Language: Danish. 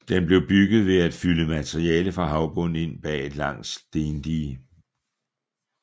Den blev bygget ved at fylde materiale fra havbunden ind bag et langt stendige